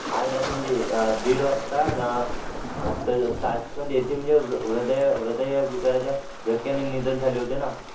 आज रात्री म्हणजे अह दीड वाजता ताश्कंद येथे हृदय हृदयविकाराच्या झटक्याने निधन झाले होते ना